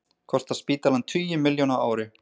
Kostar spítalann tugi milljóna á ári